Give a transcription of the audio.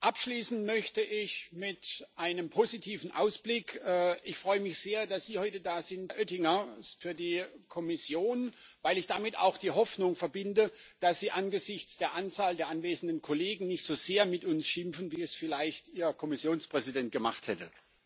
Abschließen möchte ich mit einem positiven Ausblick. Ich freue mich sehr, dass Sie, Herr Oettinger, heute für die Kommission da sind, weil ich damit auch die Hoffnung verbinde, dass Sie angesichts der Anzahl der anwesenden Kollegen nicht so sehr mit uns schimpfen, wie es vielleicht Ihr Kommissionspräsident gemacht hätte.